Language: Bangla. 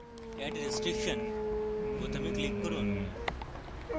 add restriction বোতামে click করুন